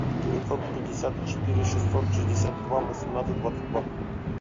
девятьсот пятьдесят четыре шестьсот шестьдесят два восемнадцать двадцать два